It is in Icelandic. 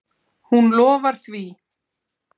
Hún lofar því.